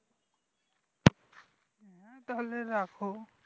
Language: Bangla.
হ্যাঁ তাহলে রাখো